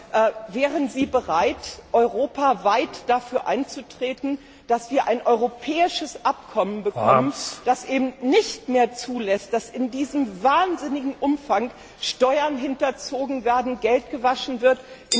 Aber wären Sie bereit, europaweit dafür einzutreten, dass wir ein europäisches Abkommen bekommen, das eben nicht mehr zulässt, dass in diesem wahnsinnigen Umfang Steuern hinterzogen werden, Geld gewaschen wird?